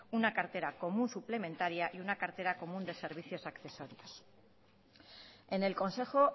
una cartera común suplementaria y una cartera común de servicios accesorios en el consejo